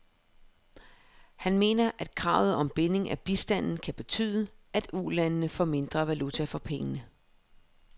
Han mener, at kravet om binding af bistanden kan betyde, at ulandene får mindre valuta for pengene.